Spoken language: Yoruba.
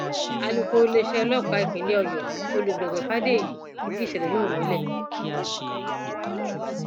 alūkkóró iléeṣẹ ọlọpàá ìpínlẹ ọyọ olùgbègbè fàdèyí fìdí ìṣẹlẹ náà múlẹ